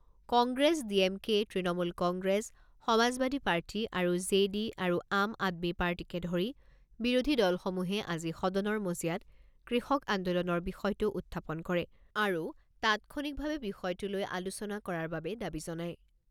Congress, D M K, Trinamool Congress, Samajwadi party, R J D আৰু আম আদমি পাৰ্টীকে ধৰি বিৰোধী দলসমূহে আজি সদনৰ মজিয়াত কৃষক আন্দোলনৰ বিষয়টো উত্থাপন কৰে আৰু তাৎক্ষণিকভাৱে বিষয়টো লৈ আলোচনা কৰাৰ বাবে দাবী জনায়।